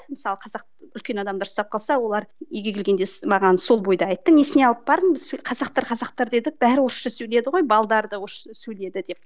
мысалы қазақтың үлкен адамдары сұрап қалса олар үйге келгенде маған сол бойда айтты несіне алып бардың біз қазақтар қазақтар дедік бәрі орысша сөйледі ғой да орысша сөйледі деп